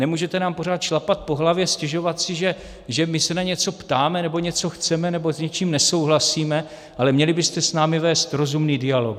Nemůžete nám pořád šlapat po hlavě, stěžovat si, že my se na něco ptáme nebo něco chceme nebo s něčím nesouhlasíme, ale měli byste s námi vést rozumný dialog.